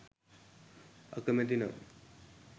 අකමැති නම්